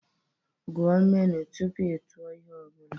Gụọ menu tupu ị tụọ ihe ọ bụla